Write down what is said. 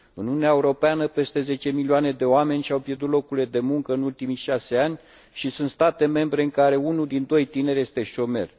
În Uniunea Europeană, peste zece milioane de oameni și au pierdut locurile de muncă în ultimii șase ani și sunt state membre în care unul din doi tineri este șomer.